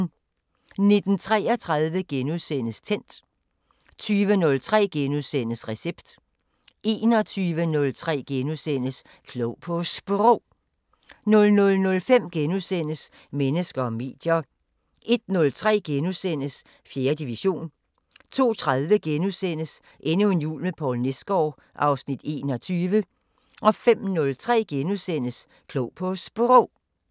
19:33: Tændt * 20:03: Recept * 21:03: Klog på Sprog * 00:05: Mennesker og medier * 01:03: 4. division * 02:30: Endnu en jul med Poul Nesgaard (Afs. 21)* 05:03: Klog på Sprog *